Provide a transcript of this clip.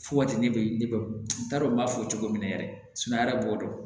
Fo ka taa ne bɛ ne t'a dɔn n b'a fɔ cogo min na yɛrɛ yɛrɛ b'o dɔn